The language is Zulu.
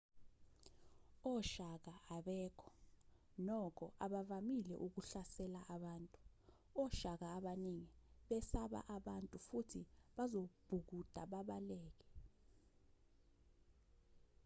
oshaka abekho nokho abavamisile ukuhlasela abantu oshaka abaningi besaba abantu futhi bazobhukuda babaleke